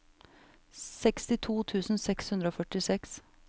sekstito tusen seks hundre og førtiseks